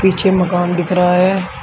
पीछे मकान दिख रहा है।